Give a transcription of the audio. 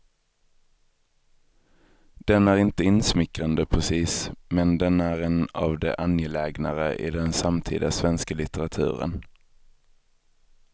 Den är inte insmickrande precis, men den är en av de angelägnare i den samtida svenska litteraturen.